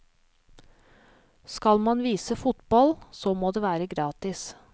Skal man vise fotball, så må det være gratis.